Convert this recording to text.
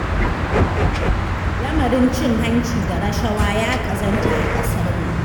Lamarin cin hanci da rashawa ya ƙazanta a ƙasar nan